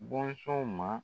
Bɔnsɔnw ma